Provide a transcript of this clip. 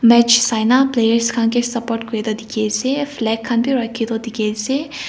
match Saina players khan kae support kurae toh dikhiase.